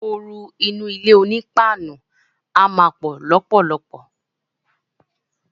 Ooru inú ilé oní páànù a má pò lópòlopò.